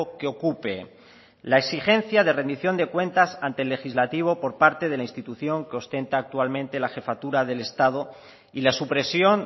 que ocupe la exigencia de rendición de cuentas ante el legislativo por parte de la institución que ostenta actualmente la jefatura del estado y la supresión